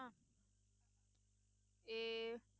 ਇਹ